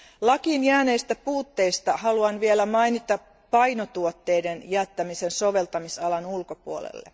Lakiin jääneistä puutteista haluan vielä mainita painotuotteiden jättämisen soveltamisalan ulkopuolelle.